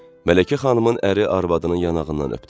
Mələkə xanımın əri arvadının yanağından öpdü.